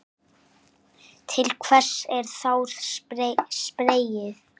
Til hvers er þá spreyið?